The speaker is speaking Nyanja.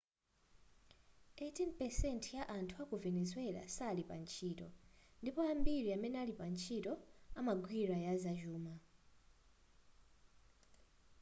18 % ya anthu aku venezuela sali pantchito ndipo ambiri amene ali pantchito amagwira yazachuma